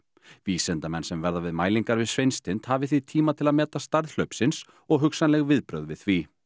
vísindamenn sem verða við mælingar við Sveinstind hafi því tíma til að meta stærð hlaupsins og hugsanleg viðbrögð við því